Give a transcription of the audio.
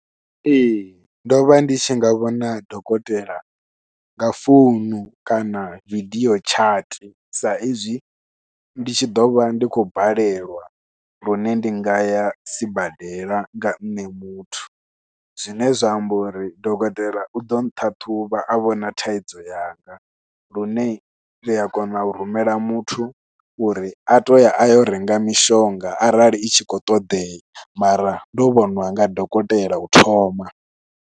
Ee ndovha ndi tshi nga vhona dokotela nga founu kana vidio tshati sa izwi ndi tshi ḓovha ndi khou balelwa lune ndi nga ya sibadela nga nṋe muthu. Zwine zwa amba uri dokotela uḓo ṱhaṱhuvha a vhona thaidzo yanga lune ria kona u rumela muthu uri a toya ayo renga mishonga arali i tshi khou ṱoḓea mara ndo vhoṅwa nga dokotela u thoma.